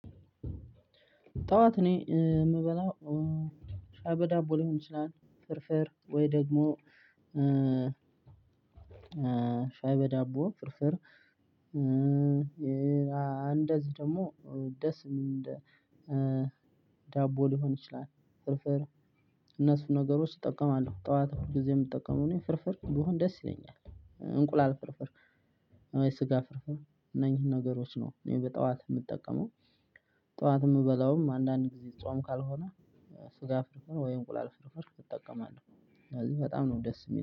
ጠዋት እኔ እምበላው ሻይ በዳቦ ሊሆን ይችላል ፍርፍር ወይ ደግሞ ሻይ በዳቦ ፍርፍር። አንደዚህ ደሞ ደስ ዳቦ ሊሆን ይችላል ፍርፍር እነሱ ነገሮች እጠቀማለው። ጠዋት ጊዜ ምጠቀመው እኔ ፍርፍር ቢሆን ደስ ይለኛል እንቁላል ፍርፍር ወይ ስጋ ፍርፍር እነኚህን ነገሮች ነው እኔ በጠዋት ምጠቀመው። ጠዋት ምበላውም አንዳንድ ጊዜ ጾም ካልሆነ ስጋ ፍርፍር ወይ እንቁላል ፍርፍር እጠቀማለው። እነዚ በጣም ነው ደስ ሚሉኝ